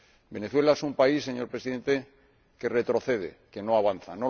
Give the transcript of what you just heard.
Venezuela es un país, señor Presidente, que retrocede, que no avanza.